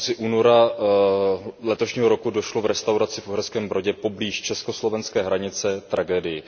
Na konci února letošního roku došlo v restauraci v Uherském Brodě poblíž česko slovenské hranice k tragédii.